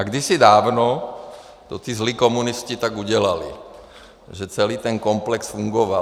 A kdysi dávno to ti zlí komunisté tak udělali, že celý ten komplex fungoval.